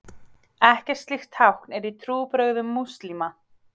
Ekkert slíkt tákn er í trúarbrögðum múslíma.